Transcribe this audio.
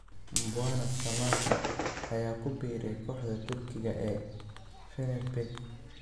Mbwana Samatta ayaa ku biiray kooxda Turkiga ee Fenerbahce